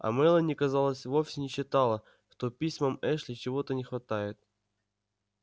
а мелани казалось вовсе не считала что письмам эшли чего-то не хватает